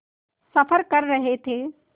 सफ़र कर रहे थे